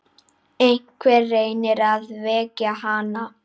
Einhver reynir að vekja hana.